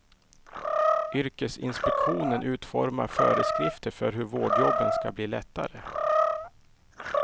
Yrkesinspektionen utformar föreskrifter för hur vårdjobben ska bli lättare.